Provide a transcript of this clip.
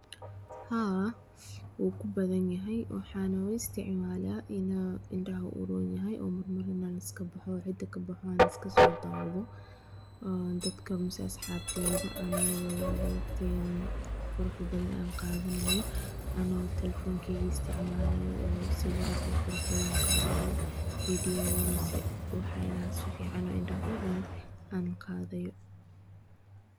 Haa wagubathanyahay waxan lo isticmalah indaha u toon yahay, mara iskabaxoo iskasidahoo AA dadkabamah asxabteyda waqdika quraxda bathan AA qathaneynoh ana talephonka isticmalah sawirka qurqurux bathan Qathatoh wax sufican indha u roon.